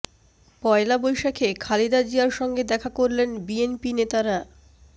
পহেলা বৈশাখে খালেদা জিয়ার সঙ্গে দেখা করলেন বিএনপি নেতারা